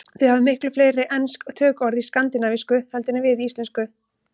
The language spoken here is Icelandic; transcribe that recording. Þið hafið miklu fleiri ensk tökuorð í skandinavísku heldur en við í íslensku.